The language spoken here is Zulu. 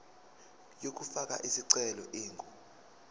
yokufaka isicelo ingu